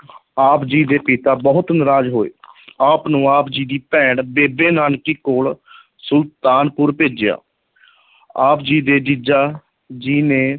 ਆਪ ਜੀ ਦੇ ਪਿਤਾ ਬਹੁਤ ਨਰਾਜ਼ ਹੋਏ ਆਪ ਨੂੰ ਆਪ ਜੀ ਦੀ ਭੈਣ ਬੇਬੇ ਨਾਨਕੀ ਕੋਲ ਸੁਲਤਾਨਪੁਰ ਭੇਜਿਆ ਆਪ ਜੀ ਦੇ ਜੀਜਾ ਜੀ ਨੇ